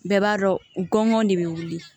Bɛɛ b'a dɔn ŋɔn de be wili